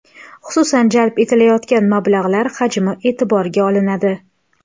Xususan, jalb etilayotgan mablag‘lar hajmi e’tiborga olinadi.